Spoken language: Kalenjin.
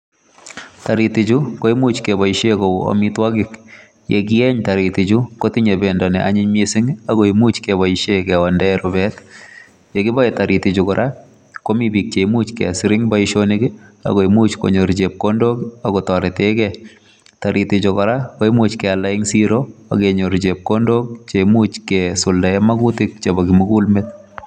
Taritichu koimuch keboishen kou amitwogik, ye kiyeny taritichu kotinye bendo ni anyiny miising ago imuch keboisien kewon rubet. Ye kiboe taritichu kora komi biiik che imuch kesir en boisionik ago imuch konyor chepkondok ak kotoreten ge. Taritichu kora koimuch kealda en siro ak kenyor chepkondok che imuch kesuldaen magutilk chebo kimugul meet